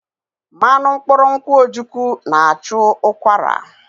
Mmanụ mkpụrụ nkwụ́ ojukwu na-achụ ụkwara.